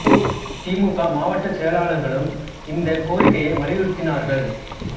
தி மு க மாவட்டச் செயலாளர்களும் இந்தக் கோரிக்கையை வலியுறுத்தினார்கள்